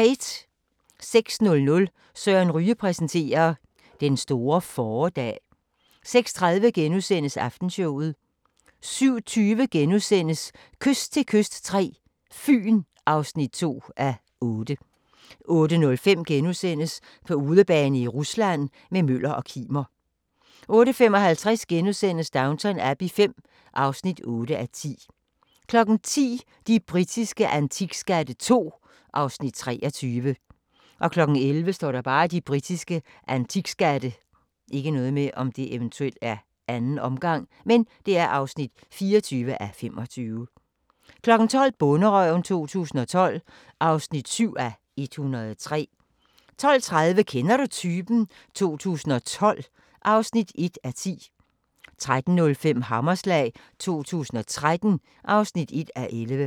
06:00: Søren Ryge præsenterer: Den store fåredag 06:30: Aftenshowet * 07:20: Kyst til kyst III – Fyn (2:8)* 08:05: På udebane i Rusland – med Møller og Kimer * 08:55: Downton Abbey V (8:10)* 10:00: De britiske antikskatte II (23:25) 11:00: De britiske antikskatte (24:25) 12:00: Bonderøven 2012 (7:103) 12:30: Kender du typen? 2012 (1:10) 13:05: Hammerslag 2013 (1:11)